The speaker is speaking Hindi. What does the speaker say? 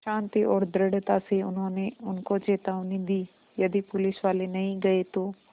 शान्ति और दृढ़ता से उन्होंने उनको चेतावनी दी यदि पुलिसवाले नहीं गए तो